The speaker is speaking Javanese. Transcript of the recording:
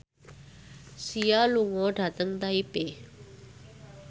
Sia lunga dhateng Taipei